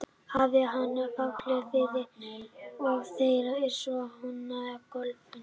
Hafi hann fallið við og þeir svo hnoðast á gólfinu.